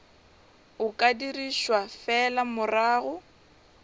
o ka dirišwa fela morago